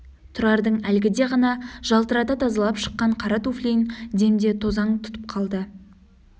тұрардың әлгіде ғана жалтырата тазалап шыққан қара туфлиін демде тозаң тұтып қалды